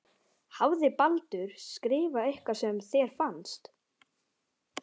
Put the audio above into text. Hafði Baldur skrifað eitthvað sem þér fannst.